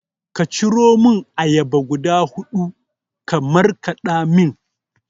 Ka ciromun ayaba guda huɗu ka markaɗa mini